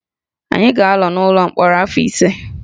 Anyị ga-anọ n’ụlọ mkpọrọ afọ ise